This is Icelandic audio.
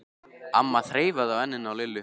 amma þreifaði á enninu á Lillu.